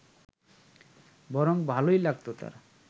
বরং ভালোই লাগত তাঁর